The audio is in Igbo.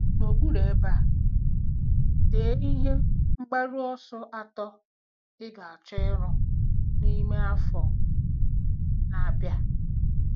N'okpuru ebe a, dee ihe mgbaru ọsọ atọ ị ga-achọ iru n'ime afọ na-abịa.